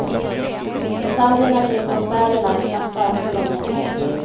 Detaljerna kring konserterna är knappa än så länge.